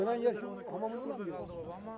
Burdan gedən yəni, o hamamını.